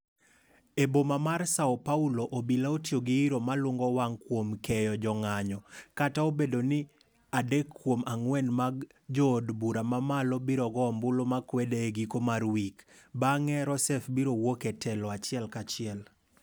E boma mar Sao Paulo, obila otiyo gi iiro malungo wang' kuom keyo jo ng'anyo, kata obedo ni adek kuom ang'wen mag jo od bura mamalo biro go ombulu makwede e giko marwik, bang'e Rousseff biro wuok e telo achiel ka chiel.